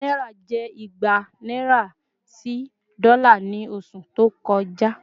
Owó Náírà jẹ́ ìgbà naira sì dola ni oṣù to kọjá